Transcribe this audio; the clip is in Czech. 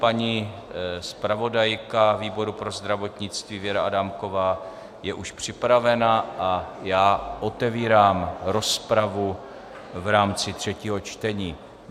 Paní zpravodajka výboru pro zdravotnictví Věra Adámková je už připravena a já otevírám rozpravu v rámci třetího čtení.